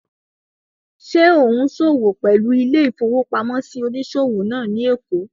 Ṣé ò ún ṣòwò pẹ̀lú ilé-ìfowópamọ́sí onísòwò náà ní èkó?